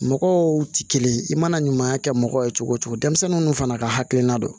Mɔgɔw tɛ kelen ye i mana ɲuman kɛ mɔgɔ ye cogo o cogo denmisɛnninw fana ka hakilina don